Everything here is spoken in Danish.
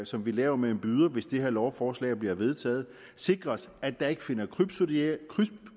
som vi laver med en byder hvis det her lovforslag bliver vedtaget sikres at der ikke finder